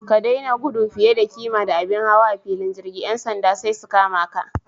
Ka daina gudu fiye da kima da abin hawa a filin jirgi. Yan sanda sai su kama ka.